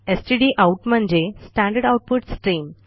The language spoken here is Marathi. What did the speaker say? स्टडआउट म्हणजे स्टँडर्ड आउटपुट स्ट्रीम